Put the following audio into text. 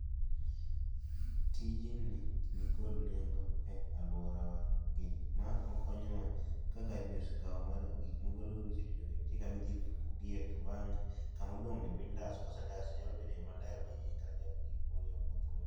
Tijni nikod nego e alwora wa nikech ma okonyowa ka gari ni osekawo gik mogolo marichoricho gi nitie kama idhi ipuko gi e to bang'e kama odong' ni be indaso ma gik moko nyalo wuothe maler.